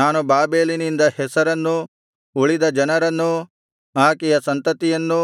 ನಾನು ಬಾಬೆಲಿನಿಂದ ಹೆಸರನ್ನೂ ಉಳಿದ ಜನರನ್ನೂ ಆಕೆಯ ಸಂತತಿಯನ್ನೂ